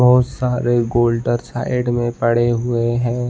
बहौत सारे गोल्डर साइड में पड़े हुए हैं।